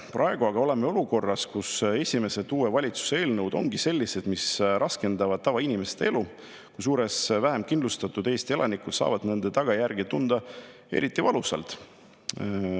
Praegu aga oleme olukorras, kus esimesed uue valitsuse eelnõud ongi sellised, mis raskendavad tavainimeste elu, kusjuures vähemkindlustatud Eesti elanikud saavad nende tagajärgi tunda eriti valusalt.